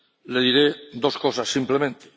le diré dos cosas simplemente.